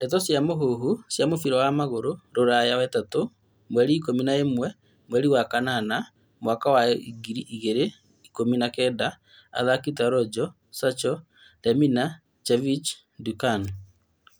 Ndeto cia mũhuhu cia mũbira wa magũrũ Rũraya wetatũ mweri ikũmi na ĩmwe mweri wa kanana mwaka wa ngiri igĩrĩ ikũmi na kenda athaki ta Rojo, Sancho Lemina, Jovic, Duncan